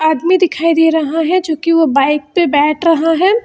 आदमी दिखाई दे रहा है जो कि वो बाइक पे बैठ रहा है।